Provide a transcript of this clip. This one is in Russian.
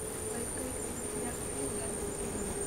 поисковик найди популярный фильм в жанре триллер